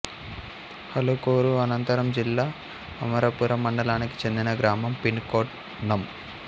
హలుకూరు అనంతపురం జిల్లా అమరాపురం మండలానికి చెందిన గ్రామం పిన్ కోడ్ నం